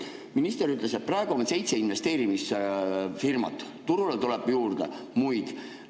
Minister ütles, et praegu on seitse investeerimisfirmat, turule tuleb juurde muid.